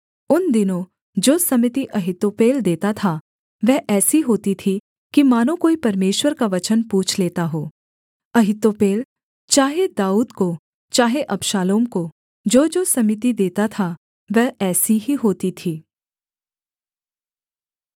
उन दिनों जो सम्मति अहीतोपेल देता था वह ऐसी होती थी कि मानो कोई परमेश्वर का वचन पूछ लेता हो अहीतोपेल चाहे दाऊद को चाहे अबशालोम को जोजो सम्मति देता वह ऐसी ही होती थी